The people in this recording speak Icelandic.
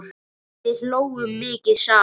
Við hlógum mikið saman.